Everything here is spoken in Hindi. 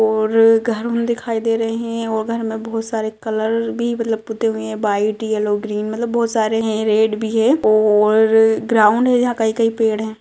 और घर दिखाई दे रहे है और घर में बहुत सारे कलर भी मतलब पुते हुए है वाइट येलो ग्रीन मतलब बहुत सारे है रेड भी है और ग्राउंड है कई-कई पेड़ है।